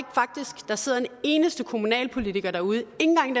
der sidder en eneste kommunalpolitiker derude ikke engang